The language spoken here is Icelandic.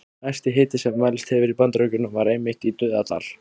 Hæsti hiti sem mælst hefur í Bandaríkjunum var einmitt í Dauðadal.